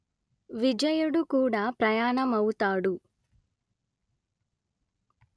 విజయుడు కూడా ప్రయాణమవుతాడు